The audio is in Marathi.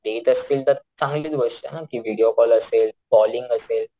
ते देत असतील तर चांगलीच गोष्ट ना कि व्हिडीओ कॉल असेल कॉलिंग असेल,